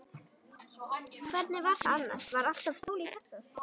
Hvernig var það annars, var alltaf sól í Texas?